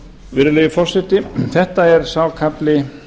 virðulegi forseti þetta er sá kafli